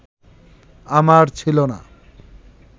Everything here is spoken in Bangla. আমার ছিল না